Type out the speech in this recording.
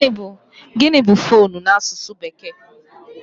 Gịnị bụ foonu n'asụsụ bekee?